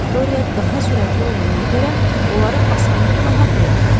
Viktoriya daha sürətli olduğuna görə onları asanlıqla haqlayarıq.